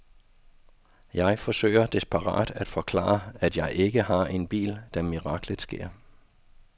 Jeg forsøger desperat at forklare, at jeg ikke har en bil, da miraklet sker.